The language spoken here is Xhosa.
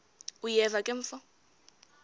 uyeva ke mfo